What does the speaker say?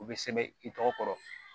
U bɛ sɛbɛn i tɔgɔ